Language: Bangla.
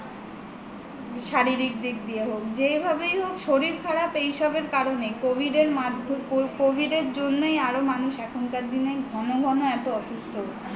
শারীরিক দিক দিয়ে হোক যেভাবেই হোক শরীর খারাপ এসবের কারণেই covid এর জন্যই আরো মানুষ এখনকার দিনে ঘন ঘন এত অসুস্থ হচ্ছে